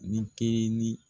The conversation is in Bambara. Nin kelenni